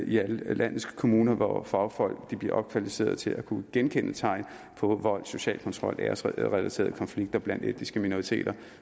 i alle landets kommuner hvor fagfolk bliver opkvalificeret til at kunne genkende tegn på vold social kontrol og æresrelaterede konflikter blandt etniske minoriteter